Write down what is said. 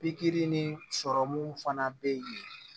Pikiri ni sɔrɔmu fana bɛ yen